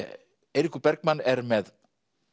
Eiríkur Bergmann er með